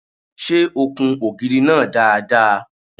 Ṣé o kun ògiri náà dáadáa?